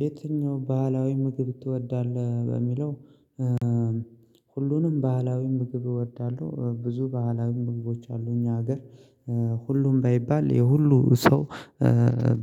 የትኛው ባህላዊ ምግብ ትወዳለህ በሚለው ሁሉንም ባህላዊ ምግብ እወዳለሁ። ብዙ ባህላዊ ምግቦች አሉ እኛ ሀገር። ሁሉም ባይባል የሁሉ ሰው